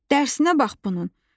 Dərsinə bax bunun.